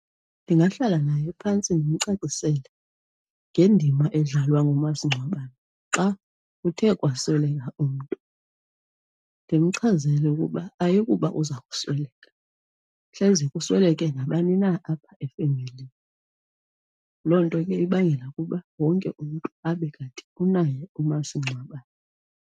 Ndingahlala naye phantsi ndimcacisele ngendima edlalwa ngomasingcwabane xa kuthe kwakusweleka umntu, ndimchazele ukuba ayikuba uza kusweleka. Hleze kusweleke nabani na apha efemelini. Loo nto ke ibangela ukuba wonke umntu abe kanti unaye umasingcwabane.